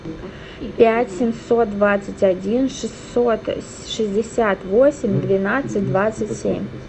пять семьсот двадцать один шестьсот шестьдесят восемь двенадцать двадцать семь